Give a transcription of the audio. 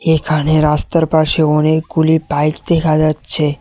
এখানে রাস্তার পাশে অনেকগুলি বাইক দেখা যাচ্ছে।